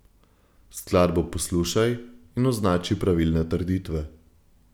Skladbo poslušaj in označi pravilne trditve.